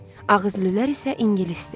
Ağızlılar isə ingilisdir.